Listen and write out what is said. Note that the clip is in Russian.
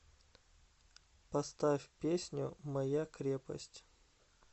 поставь песню моя крепость